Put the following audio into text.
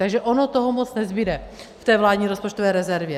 Takže ono toho moc nezbude v té vládní rozpočtové rezervě.